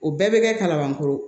O bɛɛ bɛ kɛ kalabankoro